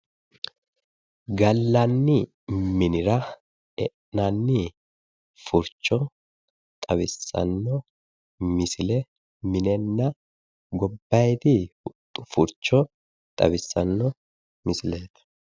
Galanni minira e'innani furichona xawisano misile minena gobbayidii furicho xawisano misilet